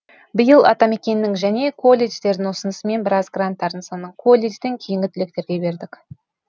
биыл атамекеннің және колледждердің ұсынысымен біраз гранттардың санын колледжден кейінгі түлектерге бердік